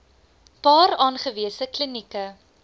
paar aangewese klinieke